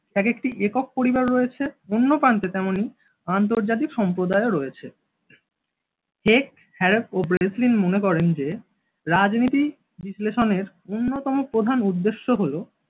এক একটি একক পরিবার রয়েছে, অন্য প্রান্তে তেমনি আন্তর্জাতিক সম্প্রদায়ও রয়েছে। হেগ হ্যারপ ও ব্রেসলিন মনে করেন যে রাজনীতি বিশ্লেষণের অন্যতম প্রধান উদ্দেশ্য হলো